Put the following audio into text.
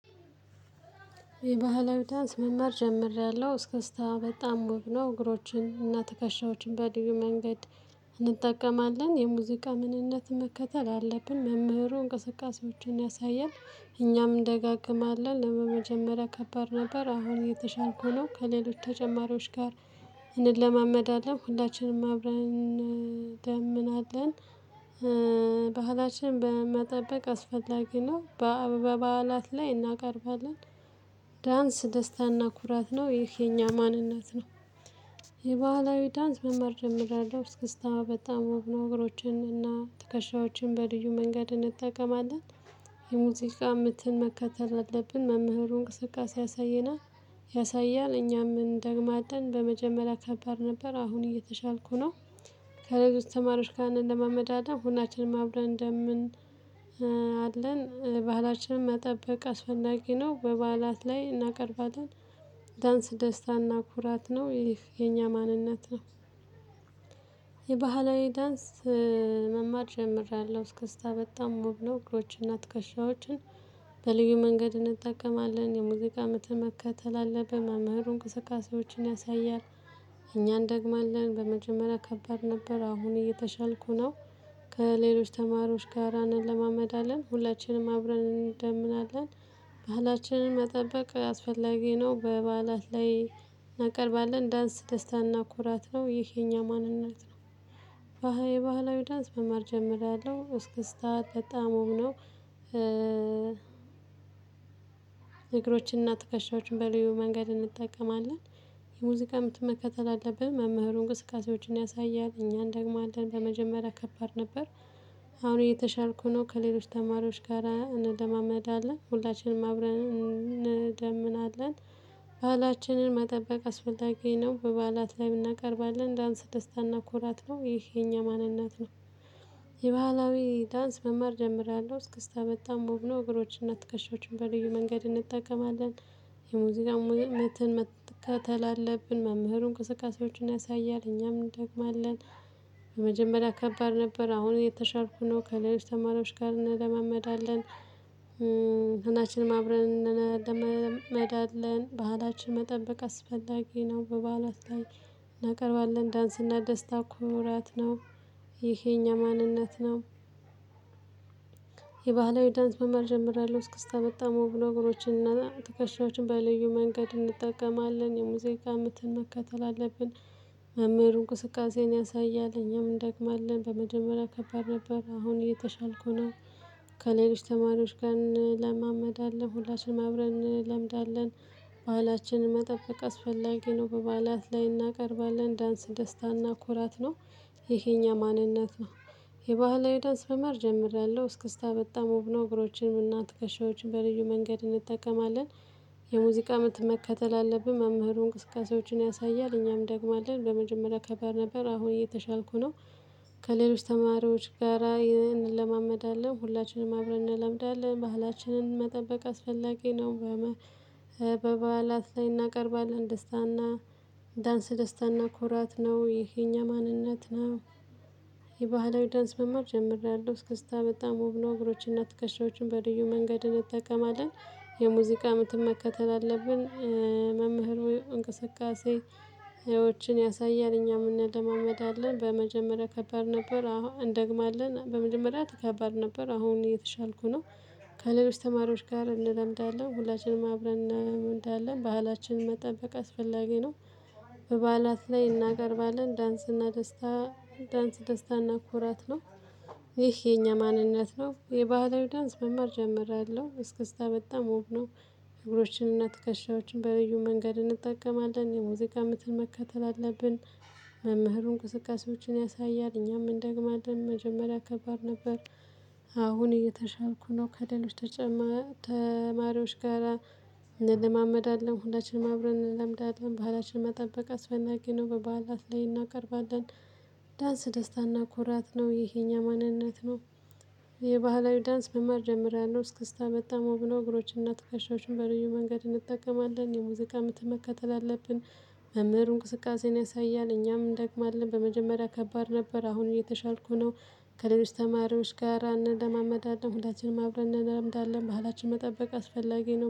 የባህላዊ ዳንስ መማር ጀምሬያለሁ እስክስታ በጣም ውብ ነው። እግሮችን እና ትከሻዎችን በልዩ መንገድ እንጠቀማለን የሙዚቃ ምንነት መከተል አለብን። መምህሩ እንቅስቃሴዎችን ያሳያል። እኛም እንደጋገማለን ለመጀመሪያ ከባድ ነበር። አሁን እየተሻልኩ ነው። ከሌሎች ተጨማሪዎች ጋር እንለማመዳለን ሁላችንም አብረን እንደምናለን። ባህላችን በመጠበቅ አስፈላጊ ነው። በበዓላት ላይ እናቀርባለን። ዳንስ ደስታና ኩራት ነው ይህ የኛ ማንነት ነው። የባህላዊ ዳንስ መማር ጀምሬያለሁ እስክስታ በጣም ዉብ ነው። እግሮችን እና ትከሻዎችን በልዩ መንገድ እንጠቀማለን። የሙዚቃ ምትን መከተል አለብን መምህሩ እንቅስቃሴ ያሳየናል። ያሳያል እኛም እንደግማለን በመጀመሪያ ከባድ ነበር። አሁን እየተሻልኩ ነው። ከሌሎች ተማሪዎች ጋር እንለማመዳለን ሁላችንም አብረን እንደምን አለን። ባህላችንን መጠበቅ አስፈላጊ ነው። በባዓላት ላይ እናቀርባለን። ዳንስ ደስታና ኩራት ነው ይህ የኛ ማንነት ነው። የባህላዊ ዳንስ መማር ጀምሬያለሁ እስከስታ በጣም ዉብ ነው። እግሮች እና ትከሻዎችን በልዩ መንገድ እንጠቀማለን የሙዚቃ ምትን መከተል አለብን መምህሩ እንቅስቃሴዎችን ያሳያል። እኛን እንደግማለን በመጀመሪያ ከባድ ነበር። አሁን እየተሻልኩ ነው። ከሌሎች ተማሪዎች ጋር እንለማመዳለን ሁላችንም አብረን እንደምናለን። ባህላችንን መጠበቅ አስፈላጊ ነው። በበዓላት ላይ እናቀርባለን። ዳንስ ደስታ እና ኮራት ነው ይህ የኛ ማንነት ነው። የባህላዊ ዳንስ መማር ጀምሬያለሁ እስክስታት በጣም ዉብ ነው። እግሮችንና ትከሻዎችን በልዩ መንገድ እንጠቀማለን። የሙዚቃ ምት መከተል አለብን መምህሩ እንቅስቃሴዎችን ያሳያል እኛ እንደግማለን በመጀመሪያ ከባድ ነበር። አሁን እየተሻልኩ ነው። ከሌሎች ተማሪዎች ጋራ እንለማመዳለን ሁላችንም አብረን እንደምናለን። ባሀላችንን መጠበቅ አስፈላጊ ነው። በባዓላት ላይ እናቀርባለን። ዳንስ ደስታና ኩራት ነው ይህ የኛ ማንነት ነው። የባህላዊ ዳንስ መማር ጀምሬያለሁ እስክስታ በጣም ዉብ ነው። እግሮችንና ትከሻዎችን በልዩ መንገድ እንጠቀማለን። የሙዚቃ ሙዚቃ ምትን መከተል አለብን መምህሩ እንቅስቃሴዎችን ያሳያል እኛም እንደግማለን። በመጀመሪያ ከባድ ነበር። አሁን የተሻልኩ ነው። ከሌሎች ተማሪዎች ጋር እንለማመዳለን። ሁላችንም አብረን እንለማመዳለን ባህላችን መጠበቅ አስፈላጊ ነው። በባዓላት ላይ እናቀርባለን። ዳንስ እና ደስታ ኩራት ነው። ይሄ የኛ ማንነት ነው። የባህላዊ ዳንስ መማር ጀምሬያለው እስክስታ በጣም ነው እገሮች እና ተከሻዎችን በለዩ መንገድ እንጠቀማለን የሙዚቃ ምትን መከተል አለብን። መምህርሩ እንቅስቃሴን ያሳያል እኛም እንደግማለን በመጀመሪያ ከባድ ነበር አሁን እየተሻልኩ ነው። ከሌሎች ተማሪዎች ጋር እንለማመዳለን ሁላችንም አብረን እንለምዳለን። ባሀላችንን መጠበቅ አስፈላጊ ነው። በባዓላት ላይ እናቀርባለን ዳንስ ደስታ እና ኩራት ነው። ይሄ የእኛ ማንነት ነው። የባህላዊ ዳንስ መማር ጀምሬያለሁ እስክስታ በጣም ወብነው። እግሮቼን እና ትከሻዎችን በልዩ መንገድ እንጠቀማለን። የሙዚቃ ምት መከተል አለብን መምህሩን እንቅስቃሴዎችን ያሳያል እኛም እንደግማለን በመጀመሪያ ከባድ ነበር አሁን እየተሻልኩ ነው። ከሌሎች ተማሪዎች ጋራ ይህንን እንለማመዳለን ሁላችንም አብረን እንለምዳለን ባህላችንን መጠበቅ አስፈላጊ ነው። በበዓላት ላይ እናቀርባለን ደስታና ዳንስ ደስታና ኮራት ነው ይህ የኛ ማንነት ነው። የባህላዊ ዳንስ መማር ጀምሬያለሁ እስክስታ በጣም ወብ ነው። እግሮችንና ትከሻዎችን በልዩ መንገድ እንጠቀማለን። የሙዚቃ ምትን መከተል አለብን። መምህሩ እንቅስቃሴ ህይወችን ያሳያል እኛም እናለማመዳለን በመጀመሪያ ከባድ ነበር አሁን እንደግማለን በመጀመሪያ ከባድ ነበር አሁን እየተሻልኩ ነው። ከሌሎች ተማሪዎች ጋር እንለምዳለን ሁላችንም አብረን እንለምዳለን ባህላችንን መጠበቅ አስፈላጊ ነው። በበዓላት ላይ እናቀርባለን። ዳንስና ደስታ ዳንስ ደስታና ኩራት ነው። ይህ የኛ ማንነት ነው። የባህላዊ ዳንስ መማር ጀምሬያለሁ እስክስታ በጣም ውብ ነው። እግሮችንና ትከሻዎችን በልዩ መንገድ እንጠቀማለን የሙዚቃ ምትን መከተል አለብን። መምህሩን እንቅስቃሴዎችን ያሳያል እኛም እንደግማለን መጀመሪያ ከባድ ነበር። አሁን እየተሻልኩ ነው። ከሌሎች ተማሪዎች ጋራ እንለማመዳለን ሁላችንም አብረን እንለምዳለን ባህላችን መጠበቅ አስፈናጊ ነው በባዓላት ላይ እናቀርባለን። ዳንስ ደስታና ኩራት ነው ይሄ የኛ ማንነት ነው። የባህላዊ ዳንስ መማር ጀምራለሁ እስከስታን አጠማምሮ እግሮችንና ትከሻዎችን በልዩ መንገድ እንጠቀማለን የሙዚቃ ምት መከተል አለብን። መምህሩ እንቅስቃሴን ያሳያል እኛም እንደግማለን በመጀመሪያ ከባድ ነበር አሁን እየተሻልኩ ነው። ከሌሎች ተማሪዎች ጋር እንደማመዳለን ሁላችንም አብረን እንለምዳለን ባህላችን መጠበቅ አስፈላጊ ነው።